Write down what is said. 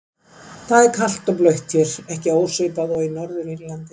Það er kalt og blautt hér, ekki ósvipað og í Norður-Írlandi.